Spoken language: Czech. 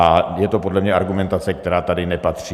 A je to podle mě argumentace, která sem nepatří.